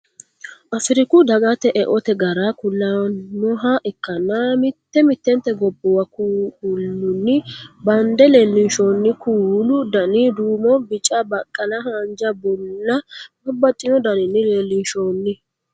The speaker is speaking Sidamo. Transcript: Afiriku dagata eote gara kulannoha ikkanna mitte mittente gobbuwa kuulunni bande leellinshonniha kuulu Dani duumo Bica baqqala haanja bulla babbaxxino daninni leellinshoonni